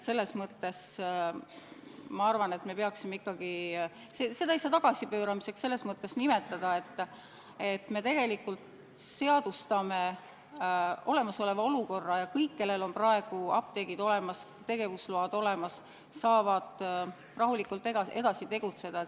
Seda ei saa tagasipööramiseks selles mõttes nimetada, et me tegelikult seadustame olemasoleva olukorra ja kõik, kellel on praegu apteek olemas, tegevusluba olemas, saavad rahulikult edasi tegutseda.